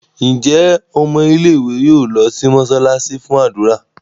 Njé Ọmọ ilé ìwé yóò ló sì mosalasi fún ádùrá?